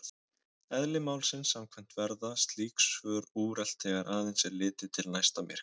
Eðli málsins samkvæmt verða slík svör úrelt þegar aðeins er litið til næsta myrkva.